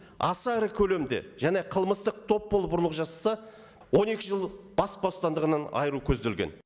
аса ірі көлемде және қылмыстық топ болып ұрлық жасаса он екі жыл бас бостандығынан айыру көзделген